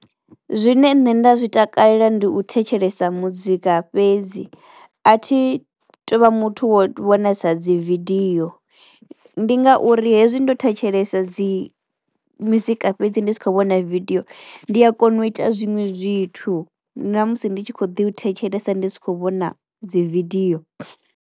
Zwine nṋe nda zwi takalela ndi u thetshelesa muzika fhedzi. A thi tu vha muthu wo vhonesa dzi video, ndi ngauri hezwi ndo thetshelesa dzi muzika fhedzi ndi si khou vhona vidiyo ndi a kona u ita zwiṅwe zwithu na musi ndi tshi kho ḓi u thetshelesa ndi si khou vhona dzividiyo.